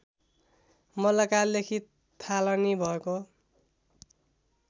मल्लकालदेखि थालनी भएको